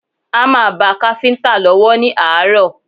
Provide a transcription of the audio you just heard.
Hámà ba káfíńtà lọ́wọ́ ní àárọ̀